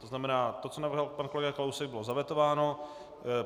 To znamená to, co navrhl pan kolega Kalousek bylo zavetováno.